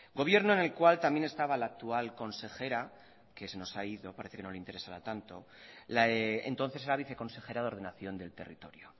gobierno en el cual también estaba la actual consejera que se nos ha ido parece que no le interesará tanto entonces era viceconsejera de ordenación del territorio